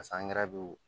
angɛrɛ be yen o